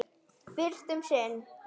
Fyrst um sinn.